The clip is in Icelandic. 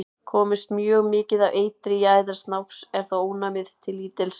Komist mjög mikið af eitri í æðar snáks er þó ónæmið til lítils.